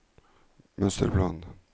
mønsterplan